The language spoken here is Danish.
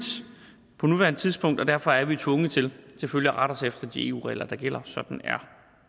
på nuværende tidspunkt og derfor er vi tvunget til selvfølgelig at rette os efter de eu regler der gælder sådan er